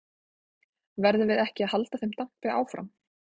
Verðum við ekki að halda þeim dampi áfram?